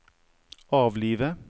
avlive